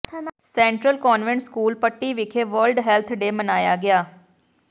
central convent school Patti ਵਿਖੇ world health day ਮਨਾਇਆ ਗਿਆ